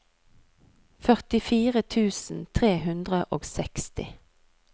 førtifire tusen tre hundre og seksti